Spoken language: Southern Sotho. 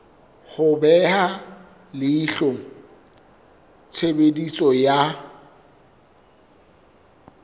ho beha leihlo tshebediso ya